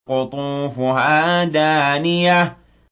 قُطُوفُهَا دَانِيَةٌ